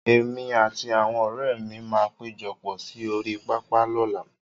Èmi àti àwọn ọ̀rẹ́ mi máa péjọpọ̀ sí orí pápá lọ́làá.